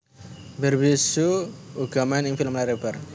Barbie hsu uga main ing film layar lebar